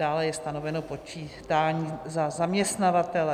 Dále je stanoveno počítání za zaměstnavatele.